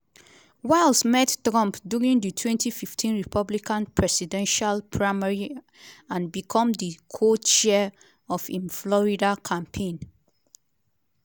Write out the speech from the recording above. wiles meet trump during di 2015 republican presidential primary and become di co-chair of im florida campaign.